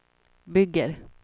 bygger